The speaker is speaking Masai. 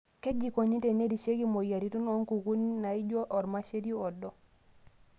Kaji eikoni tenerishieki imoyiaritin o nkukuni naaijio ormasheri odo.